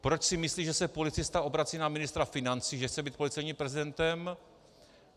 Proč si myslí, že se policista obrací na ministra financí, že chce být policejním prezidentem?